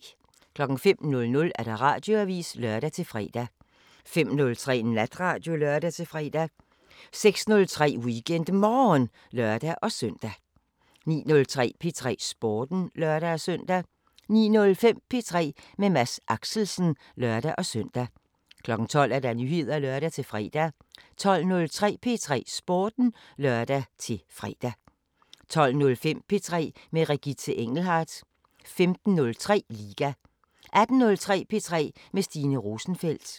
05:00: Radioavisen (lør-fre) 05:03: Natradio (lør-fre) 06:03: WeekendMorgen (lør-søn) 09:03: P3 Sporten (lør-søn) 09:05: P3 med Mads Axelsen (lør-søn) 12:00: Nyheder (lør-fre) 12:03: P3 Sporten (lør-fre) 12:05: P3 med Regitze Engelhardt 15:03: Liga 18:03: P3 med Stine Rosenfeldt